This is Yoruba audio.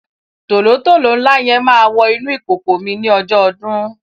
tòlótòló ńlá yẹn máa wọ inú ìkòkò mi ní ọjọ́ ọdún.